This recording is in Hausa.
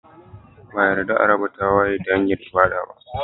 Ba a yarda a raba tagwaye ta hanyar ibada ba